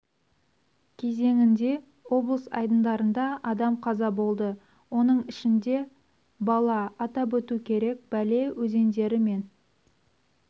кезеңінде облыс айдындарында адам қаза болды оның ішінде бала атап өту керек бәле өзендері мен